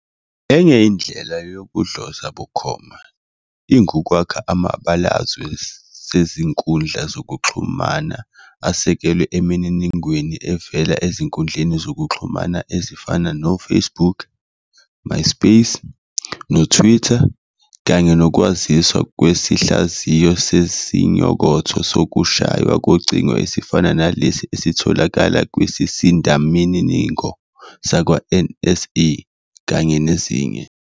Enye indlela yokudloza bukhoma ingukwakha amabalazwe sezinkundla zokuxhumana asekelwe emininingweni evela ezinkundleni zokuxhumana ezifana noFacebook, MySpace, noTwitter kanye nokwaziswa kwesihlaziyo sesinyokotho sokushaywa kocingo esifana naleso esitholakala kwisisindamininingo sakwaNSA, kanye nezinye.